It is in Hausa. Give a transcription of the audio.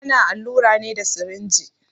Ana allura ne da sirinji.